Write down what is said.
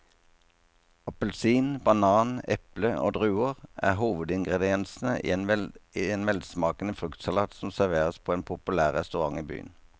Appelsin, banan, eple og druer er hovedingredienser i en velsmakende fruktsalat som serveres på en populær restaurant i byen.